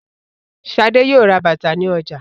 Ṣadé yóò ra bàtà ní ọjà.